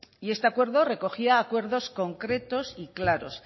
este acuerdo recogía acuerdos concretos y claros